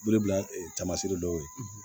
Wele bila tamaseere dɔw ye